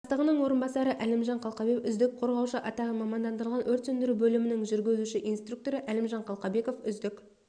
бастығының орынбасары әлімжан қалқабеков үздік қорғаушы атағын мамандандырылған өрт сөндіру бөлімінің жүргізуші-инструкторы әлімжан қалқабеков үздік